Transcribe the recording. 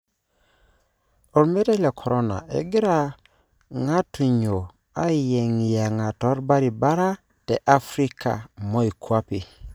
Omeitai le corona:Egira ngatunyo ayengiyenga tobaribara te Africa moikwape.